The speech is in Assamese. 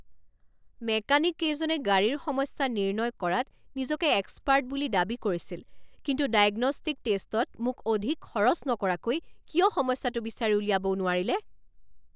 মেকানিককেইজনে গাড়ীৰ সমস্যা নিৰ্ণয় কৰাত নিজকে এক্সপাৰ্ট বুলি দাবী কৰিছিল কিন্তু 'ডায়গ্ন'ষ্টিক টেষ্ট'ত মোক অধিক খৰচ নকৰাকৈ কিয় সমস্যাটো বিচাৰি উলিয়াবও নোৱাৰিলে?